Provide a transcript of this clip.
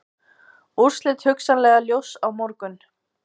Úrslit hugsanlega ljós á morgun